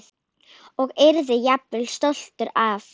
Og yrði jafnvel stoltur af.